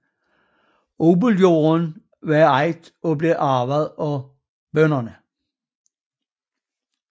Odelsjorden var ejet og blev arvet af bønderne